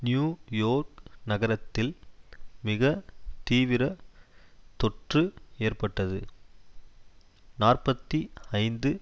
new York நகரத்தில் மிக தீவிர தொற்று ஏற்பட்டது நாற்பத்தி ஐந்து